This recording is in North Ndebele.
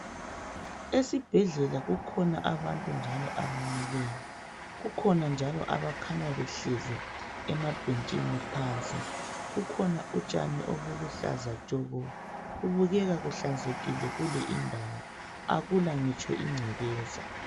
Esibhedlela kukhona abantu njalo abamileyo kukhona njalo abakhanya behlezi emabhetshini phansi kukhona utshani olubuhlaza tshoko kubukeka kuhlanzekile kule indawo akula ngitsho ingcekeza.